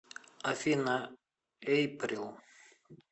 афина эйприл